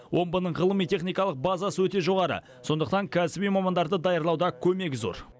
омбының ғылыми техникалық базасы өте жоғары сондықтан кәсіби мамандарды даярлауда көмегі зор